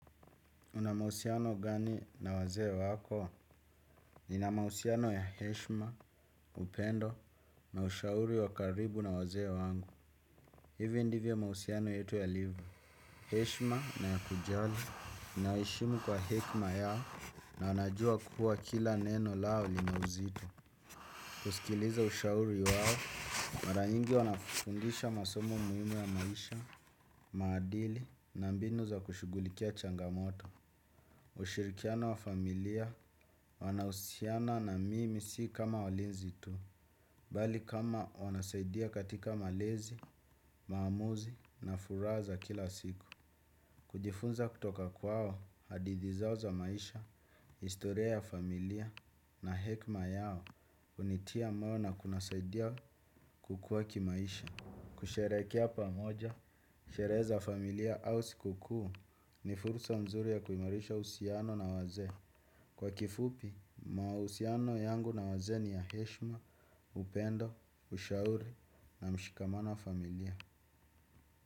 Unamahusiano gani na wazee wako? Ninamahusiano ya Heshma, Upendo, na ushauri wakaribu na wazee wangu. Hivyo ndivyo mahusiano yetu yalio. Heshima na ya kujali, ninawaheshimu kwa hekima yao na najua kuwa kila neno lao linauzito. Kusikiliza ushauri wao, mara nyingi wanafundisha masomo muhimu ya maisha, maadili, na mbinu za kushughulikia changamoto. Ushirikiano wa familia wanahusiana na mimi si kama walinzi tu, bali kama wanasaidia katika malezi, maamuzi na furaha za kila siku. Kujifunza kutoka kwao hadithi zao za maisha, historia ya familia na hekima yao hunitia moyo na kunisaidia kukua kimaisha. Kusherekea pamoja, sherehe za familia au siku kuu ni fursa mzuri ya kuimarisha uhusiano na wazee. Kwa kifupi, mahusiano yangu na wazee ni ya heshma, upendo, ushauri na mshikamano wa familia.